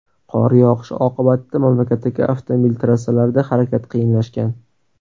Qor yog‘ishi oqibatida mamlakatdagi avtomobil trassalarida harakat qiyinlashgan.